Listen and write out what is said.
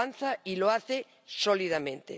Avanza y lo hace sólidamente.